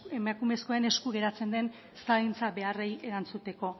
emakumezkoen esku geratzen den zaintza beharrei erantzuteko